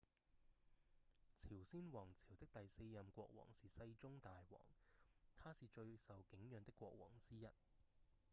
朝鮮王朝的第四任國王是世宗大王他是最受景仰的國王之一